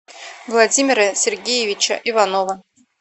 владимира сергеевича иванова